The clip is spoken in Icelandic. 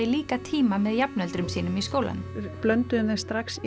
líka tíma með jafnöldrum sínum í skólanum við blöndum þeim strax